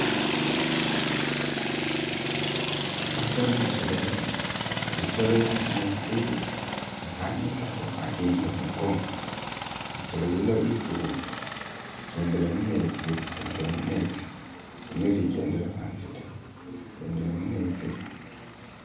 Naboone insolo iyi insolo ili mumenzi ili kumenzi ni ka nyunyi nako kajimire ku mugongo insolo yi infubu, ijendera mumenzi, ijendera mumenzi, niyo kejendera yasi da, ijendera mumenzi